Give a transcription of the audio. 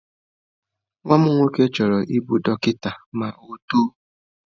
Nwa m nwoke chọrọ ịbụ dọkịta ma ọ otoo.